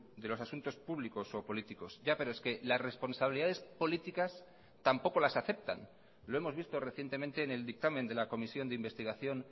de los asuntos públicos o políticos ya pero es que las responsabilidades políticas tampoco las aceptan lo hemos visto recientemente en el dictamen de la comisión de investigación